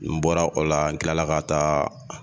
N bɔra o la n kila ka taa